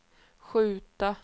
skjuta